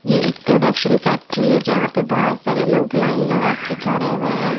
ये एक production factory है जहाँं पे बहुत सारे लोग लाइन लगा के खड़े हैं।